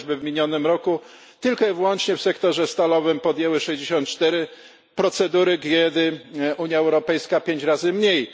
Chociażby w minionym roku tylko i wyłącznie w sektorze stalowym podjęły 64 procedury, kiedy Unia Europejska 5 razy mniej